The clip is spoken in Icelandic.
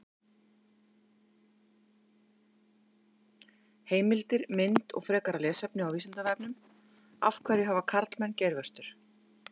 Heimildir, mynd og frekara lesefni á Vísindavefnum: Af hverju hafa karlmenn geirvörtur?